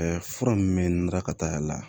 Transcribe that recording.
fura min bɛ n lakal'a la